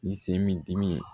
Ni se min dimi ye